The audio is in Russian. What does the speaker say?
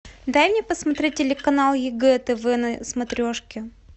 дай мне посмотреть телеканал егэ тв на смотрешке